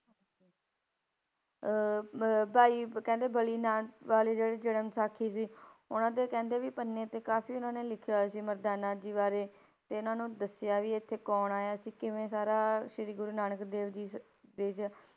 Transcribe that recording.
ਅਹ ਮ~ ਭਾਈ ਕਹਿੰਦੇ ਬਲੀ ਨਾ~ ਵਾਲੀ ਜਿਹੜੀ ਜਨਮ ਸਾਖੀ ਸੀ ਉਹਨਾਂ ਦੇ ਕਹਿੰਦੇ ਵੀ ਪੰਨੇ ਤੇ ਕਾਫ਼ੀ ਉਹਨਾਂ ਨੇ ਲਿਖਿਆ ਹੋਇਆ ਸੀ ਮਰਦਾਨਾ ਜੀ ਬਾਰੇ ਤੇ ਇਹਨਾਂ ਨੂੰ ਦੱਸਿਆ ਵੀ ਇੱਥੇ ਕੌਣ ਆਇਆ ਤੇ ਕਿਵੇਂ ਸਾਰਾ ਸ੍ਰੀ ਗੁਰੂ ਨਾਨਕ ਦੇਵ ਜੀ ਸੀ